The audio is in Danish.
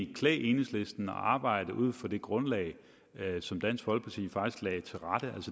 klædt enhedslisten at arbejde ud fra det grundlag som dansk folkeparti faktisk lagde